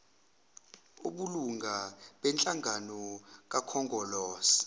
obulunga benhlangano kakhongolose